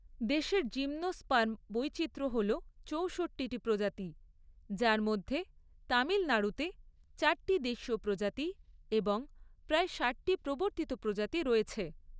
দেশের জিমনোস্পার্ম বৈচিত্র্য হল চৌষট্টিটি প্রজাতি, যার মধ্যে তামিলনাড়ুতে চারটি দেশীয় প্রজাতি এবং প্রায় ষাটটি প্রবর্তিত প্রজাতি রয়েছে।